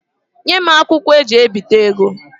Nye m akwụkwo eji ebita ego.